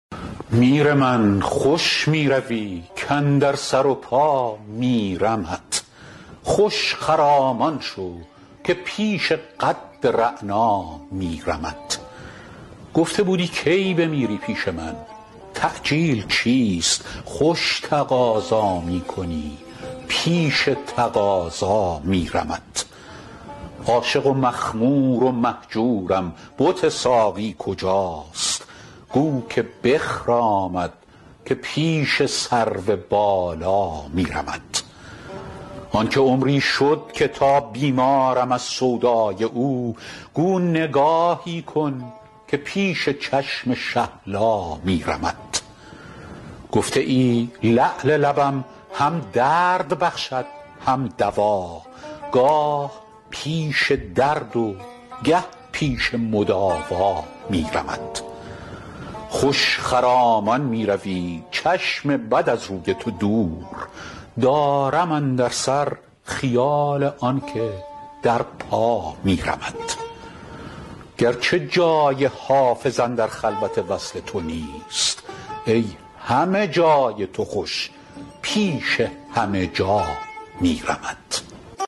میر من خوش می روی کاندر سر و پا میرمت خوش خرامان شو که پیش قد رعنا میرمت گفته بودی کی بمیری پیش من تعجیل چیست خوش تقاضا می کنی پیش تقاضا میرمت عاشق و مخمور و مهجورم بت ساقی کجاست گو که بخرامد که پیش سرو بالا میرمت آن که عمری شد که تا بیمارم از سودای او گو نگاهی کن که پیش چشم شهلا میرمت گفته ای لعل لبم هم درد بخشد هم دوا گاه پیش درد و گه پیش مداوا میرمت خوش خرامان می روی چشم بد از روی تو دور دارم اندر سر خیال آن که در پا میرمت گرچه جای حافظ اندر خلوت وصل تو نیست ای همه جای تو خوش پیش همه جا میرمت